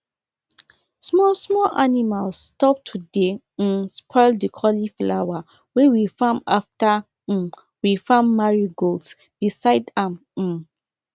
small small animals stop to dey um spoil the cauliflower wey we farm after um we farm marigolds beside am um